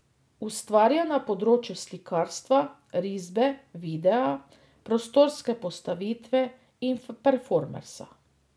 Ustvarja na področju slikarstva, risbe, videa, prostorske postavitve in performansa.